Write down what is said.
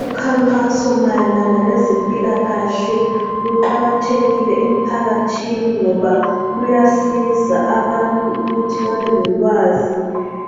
Ukhankaso mayelana lezempilakahle luqakathekile emphakathini ngoba luyasiza abantu ukuthi babelolwazi